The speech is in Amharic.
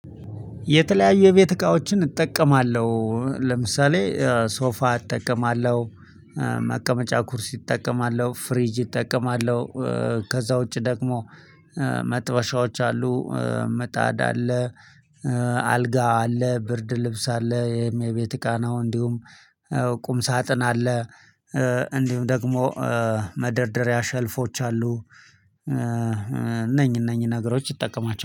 የተለያዩ የቤት እቃዎችን እጠቀማለሁ ለምሳሌ ሶፋ እጠቀማለሁ። መቀመጫ ኩርሲ እጠቀማለሁ ፍሪጅ እጠቀማለሁ። ከዛ ውጪ ደግሞ መጥበሻዎች አሉ ምጣድ አለ። አልጋ አለ ብርድ ልብስ አለ ይህም የቤት እቃ ነው። እንዲሁም ቁም ሳጥን አለ። እንዲሁም ደግሞ መደርደሪያ ሸልፎች አሉ። እነኝ እነኝ ነገሮች እጠቀማቸ